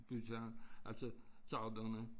Byggere altså sauderne